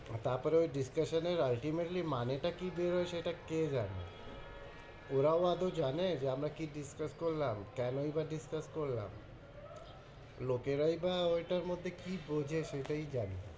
তারপরে ওই discussion এর ultimately মানেটা কি বেরোয় সেটা কে জানে? ওরাও আদেও জানে যে আমরা কি discuss করলাম? কেনই বা discuss করলাম? লোকেরাই বা ওইটার মধ্যে কি বোঝে সেটাই জানে,